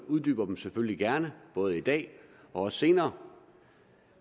uddyber dem selvfølgelig gerne både i dag og også senere